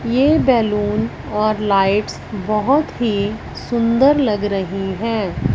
ये बैलून और लाइट्स बहौत ही सुंदर लग रही हैं।